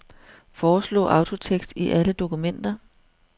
Foreslå autotekst i alle dokumenter.